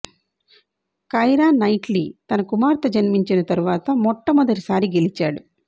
Kiara Knightley తన కుమార్తె జన్మించిన తరువాత మొట్టమొదటి సారి గెలిచాడు